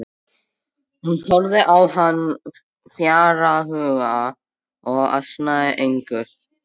Hún horfði á hann fjarhuga og ansaði engu.